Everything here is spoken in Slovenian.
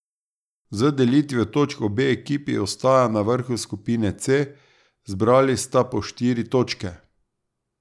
Z delitvijo točk obe ekipi ostaja na vrhu skupine C, zbrali sta po štiri točke.